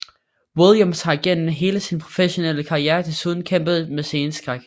Williams har gennem hele sin professionelle karriere desuden kæmpet med sceneskræk